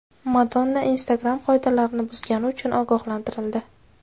Madonna Instagram qoidalarini buzgani uchun ogohlantirildi.